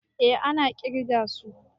A na ƙirga su